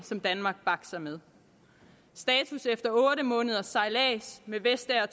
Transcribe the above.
danmark bakser med status efter otte måneders sejlads med vestager